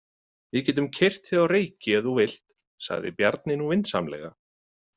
Við getum keyrt þig á Reyki ef þú vilt, sagði Bjarni nú vinsamlega.